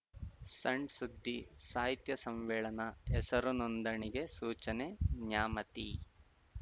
ಸಣ್‌ ಸುದ್ದಿ ಸಾಹಿತ್ಯ ಸಮ್ಮೇಳನ ಹೆಸರು ನೋಂದಣಿಗೆ ಸೂಚನೆ ನ್ಯಾಮತಿ